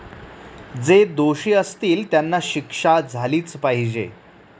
जे दोषी असतील त्यांना शिक्षा झालीच पाहिजे.